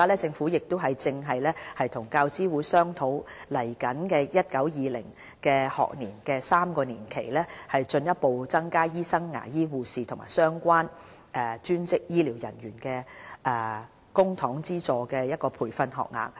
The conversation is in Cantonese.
政府現正與教資會商討於接下來 2019-2020 學年開始的3年期，進一步增加醫生、牙醫、護士和相關專職醫療人員的公帑資助培訓學額。